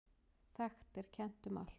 Þekkt er kennt um allt.